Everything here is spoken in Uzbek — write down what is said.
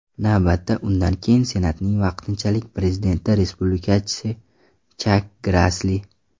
Navbatda undan keyin senatning vaqtinchalik prezidenti respublikachi Chak Grassli.